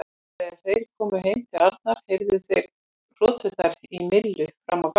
Þegar þeir komu heim til Arnar heyrðu þeir hroturnar í Millu fram á gang.